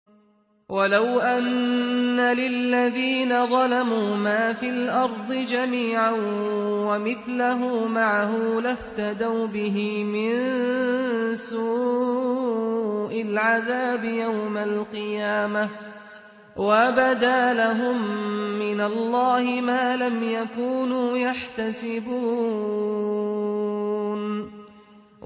وَلَوْ أَنَّ لِلَّذِينَ ظَلَمُوا مَا فِي الْأَرْضِ جَمِيعًا وَمِثْلَهُ مَعَهُ لَافْتَدَوْا بِهِ مِن سُوءِ الْعَذَابِ يَوْمَ الْقِيَامَةِ ۚ وَبَدَا لَهُم مِّنَ اللَّهِ مَا لَمْ يَكُونُوا يَحْتَسِبُونَ